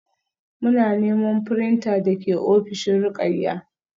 Muna neman printer da ke ofishin Ruqayyah